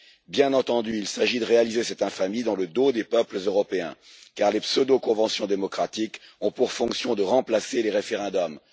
Bien entendu, il s'agit de réaliser cette infamie dans le dos des peuples européens, car les pseudo conventions démocratiques ont pour fonction de remplacer les référendums.